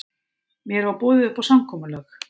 Mér var boðið upp á samkomulag